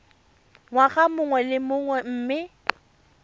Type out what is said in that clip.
ngwaga mongwe le mongwe mme